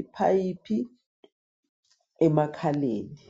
iphayiphi emakhaleni.